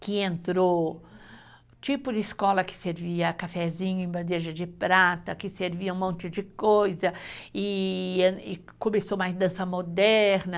que entrou, tipo de escola que servia cafezinho em bandeja de prata, que servia um monte de coisa, e começou mais dança moderna.